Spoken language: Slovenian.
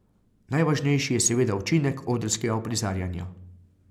Najvažnejši je seveda učinek odrskega uprizarjanja.